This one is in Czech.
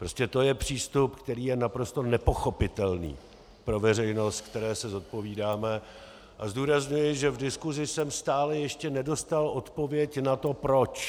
Prostě to je přístup, který je naprosto nepochopitelný pro veřejnost, které se zodpovídáme, a zdůrazňuji, že v diskusi jsem stále ještě nedostal odpověď na to proč.